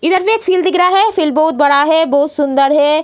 इधर भी एक फील्ड दिख रहा है फील्ड बहुत बड़ा है बहुत सुंदर है।